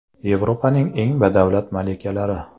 Yevropaning eng badavlat malikalari .